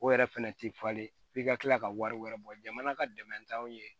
O yɛrɛ fɛnɛ ti falen f'i ka kila ka wari wɛrɛ bɔ jamana ka dɛmɛ t'anw ye